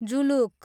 Zuluk